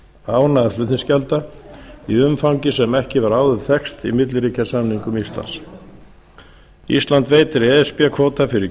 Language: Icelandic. án aðflutningsgjalda í umfangi sem ekki hefur áður þekkst í milliríkjasamningum íslands ísland veitir e s b kvóta fyrir